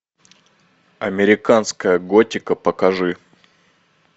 американская готика покажи